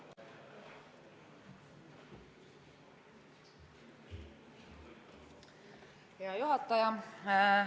Hea juhataja!